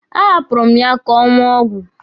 A hapụrụ m ya ka ọ ṅụọ ọgwụ.